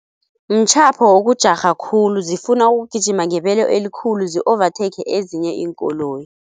Mtjhapho wokujarha khulu zifuna ukugijima ngebelo elikhulu zi-overtake ezinye iinkoloyi.